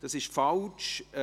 Das ist falsch.